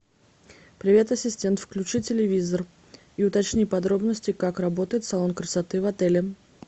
привет ассистент включи телевизор и уточни подробности как работает салон красоты в отеле